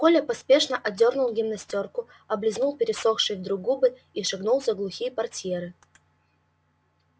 коля поспешно одёрнул гимнастёрку облизнул пересохшие вдруг губы и шагнул за глухие портьеры